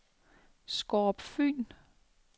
Skårup Fyn